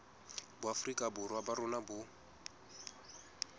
boafrika borwa ba rona bo